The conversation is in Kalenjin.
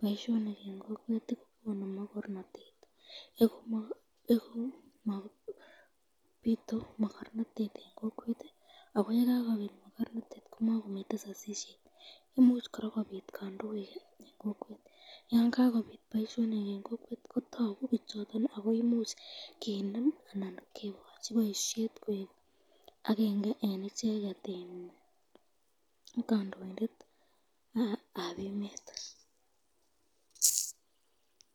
boishonik en kokwet konu mokornotet, bitu mokornotet en kokwet ak ko yekakobit mokornotet en kokwet komokomiten sosisiet, imuch kora kobit kondoik, yoon kakobit boishonik en kokwet kotoku bichoton ak koimuch kinem anan kokochi boishet koik akeng'e en icheket kondoindetab emet.